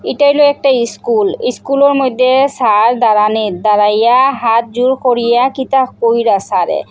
ইটা হইল একটা ইস্কুল ইস্কুলের মইদ্যে সার দ্বাড়ানিত দাঁড়াইয়া হাত জোড় করিয়া কিতাব পইরা সাড়ে।